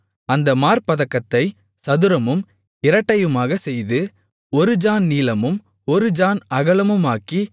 அந்த மார்ப்பதக்கத்தைச் சதுரமும் இரட்டையுமாகச் செய்து ஒரு ஜாண் நீளமும் ஒரு ஜாண் அகலமுமாக்கி